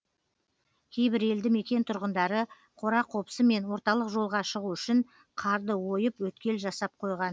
кейбір елді мекен тұрғындары қора қопсы мен орталық жолға шығу үшін қарды ойып өткел жасап қойған